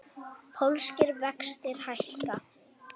Pólskir vextir hækka